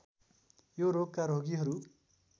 यो रोगका रोगीहरू